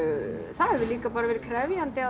það hefur líka bara verið krefjandi að